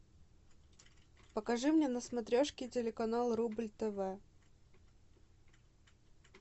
покажи мне на смотрешке телеканал рубль тв